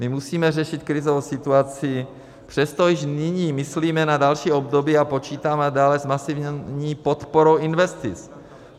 My musíme řešit krizovou situaci, přesto již nyní myslíme na další období a počítáme nadále s masivní podporou investic.